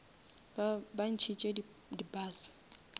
ba ntšhitše di bus